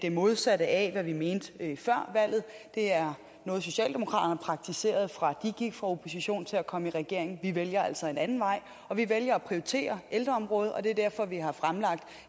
modsatte af hvad vi mente før valget det er noget socialdemokraterne har praktiseret fra de gik fra opposition til at komme i regering vi vælger altså en anden vej vi vælger at prioritere ældreområdet og det er derfor vi har fremlagt